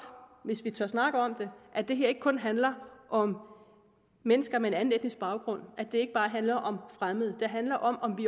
hvis vi tør snakke om det at det her ikke kun handler om mennesker med en anden etnisk baggrund at det ikke bare handler om fremmede det handler om om vi